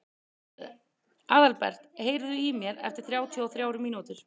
Aðalbert, heyrðu í mér eftir þrjátíu og þrjár mínútur.